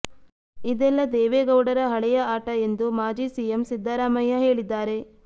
ಇದೆಲ್ಲ ದೇವೇಗೌಡರ ಹಳೆಯ ಆಟ ಎಂದು ಮಾಜಿ ಸಿಎಂ ಸಿದ್ದರಾಮಯ್ಯ ಹೇಳಿದ್ದಾರೆ